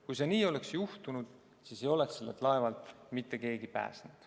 Kui see nii oleks juhtunud, siis ei oleks sellelt laevalt mitte keegi pääsenud.